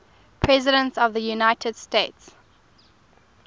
presidents of the united states